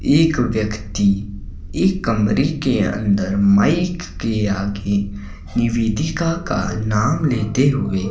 एक व्यक्ति एक कमरे के अंदर माइक के आगे निवेदिका का नाम लेते हुए--